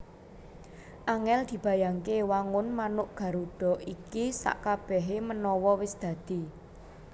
Angèl dibayangke wangun manuk Garuda iki sakkabèhé manawa wis dadi